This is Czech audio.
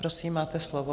Prosím, máte slovo.